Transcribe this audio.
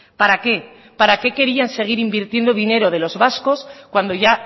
para qué para qué querían seguir invirtiendo dinero de los vascos cuando ya